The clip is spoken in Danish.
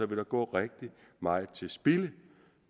der gå rigtig meget til spilde